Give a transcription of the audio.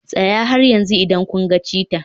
Tsaya har yanzu idan kun ga cheetah.